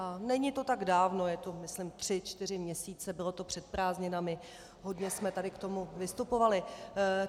A není to tak dávno, je to myslím tři čtyři měsíce, bylo to před prázdninami, hodně jsme tady k tomu vystupovali.